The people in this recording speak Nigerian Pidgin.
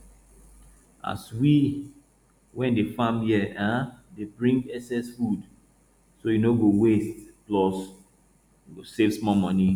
all we wey dey farm here um dey bring excess food so e no go waste plus we go save small money